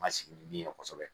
Ma sigi ni min ye kosɛbɛ